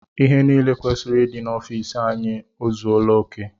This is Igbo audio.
Ihe niile kwesịrị ịdị n'ofici anyị ọ zuela oké?